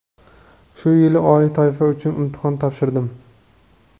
Shu yili oliy toifa uchun imtihon topshirdim.